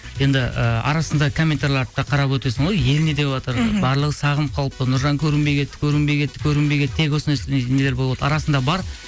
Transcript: енді ыыы арасында комментарияларды да қарап өтесің ғой ел не деватыр мхм барлығы сағынып қалыпты нұржан көрінбей кетті көрінбей кетті көрінбей кетті тек осындай нелер арасында бар